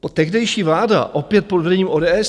Tehdejší vláda opět pod vedením ODS.